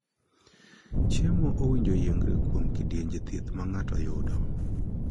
Chiemo owinjore oyiengre kuom kidienje thieth ma ng'ato yudo.